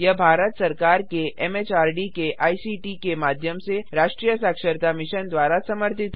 यह भारत सरकार के एमएचआरडी के आईसीटी के माध्यम से राष्ट्रीय साक्षरता मिशन द्वारा समर्थित है